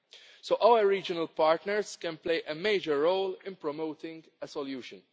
So our regional partners can play a major role in promoting a solution.